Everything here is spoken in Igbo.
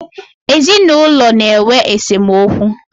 ezinụlọ na-enwe esemokwu.